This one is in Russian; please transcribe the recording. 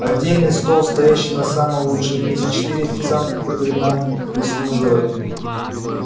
отдельный стол стоящий на самом лучшем месте четыре официанта которые нам прислуживали